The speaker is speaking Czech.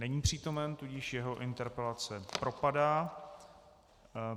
Není přítomen, tudíž jeho interpelace propadá.